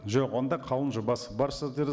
жоқ онда қаулының жобасы бар сіздерде